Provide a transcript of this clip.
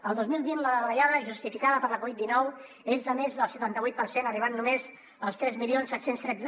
el dos mil vint la davallada justificada per la covid dinou és de més del setanta vuit per cent arribant només als tres mil set cents i tretze